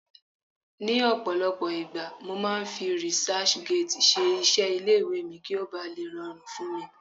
ní ọpọlọpọ igba, mo ma fi researchgate ṣe iṣẹ ile iwe mi ki o ba le rọrùn fún mi